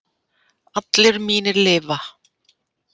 Allir mínir lifa.